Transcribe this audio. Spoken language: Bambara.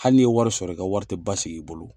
Hali n'i ye wari sɔrɔ, i ka wari te basigi i bolo.